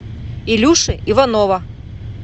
илюши иванова